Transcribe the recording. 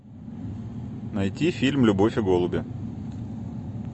найти фильм любовь и голуби